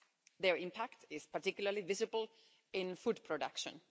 Their impact is particularly visible in food production.